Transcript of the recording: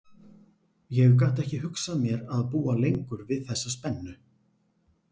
Ég gat ekki hugsað mér að búa lengur við þessa spennu.